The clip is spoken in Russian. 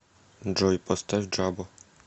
джой поставь джабо